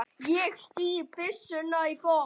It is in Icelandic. Ég stíg byssuna í botn.